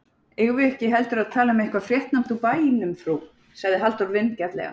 Eigum við ekki heldur að tala um eitthvað fréttnæmt úr bænum frú? sagði Halldór vingjarnlega.